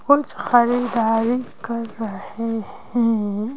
कुछ खारीदारी कर रहे हैं।